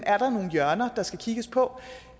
er nogle hjørner der skal kigges på